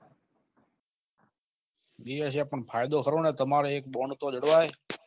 એવું છે પન ફાયદો ખરો ને તમારે એક bond તો જળવાય